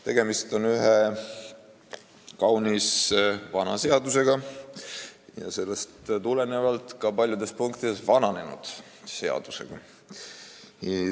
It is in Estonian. Tegemist on ühe kaunis vana ja sellest tulenevalt ka paljudes punktides vananenud seadusega.